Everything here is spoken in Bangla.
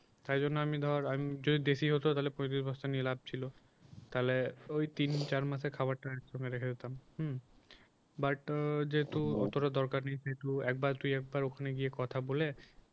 তাই জন্য আমি ধর যদি দেশী হত তাহলে পঁয়ত্রিশ বস্তা নিয়ে লাভ ছিল তাহলে ওই তিন-চার মাসের খাবারটা একসঙ্গে রেখে দিতাম হুম but যেহেতু অতটা দরকার নাই যেহেতু একবার তুই একবার ওখানে গিয়ে কথা বলে